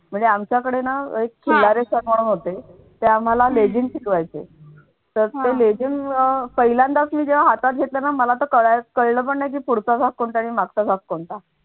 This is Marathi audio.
म्हणजे आमच्याकडे ना एक खिल्लारे sir म्हणून होते ते आम्हाला लेझीम शिकवायचे तर ते लेझीम अह पहिल्यांदाच मी जेव्हा हातात घेतलं ना मला तर कळल पण नाही. पुढचा भाग कोणता? आणि मागचा भाग कोणता?